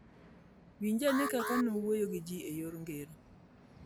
Winj ane kaka ne owuoyo gi ji e yor ngero: